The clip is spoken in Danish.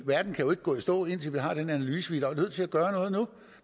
verden kan jo ikke gå i stå indtil vi har den analyse vi er nødt til at gøre noget